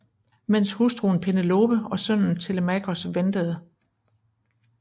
Mens hustruen Penelope og sønnen Telemakos ventede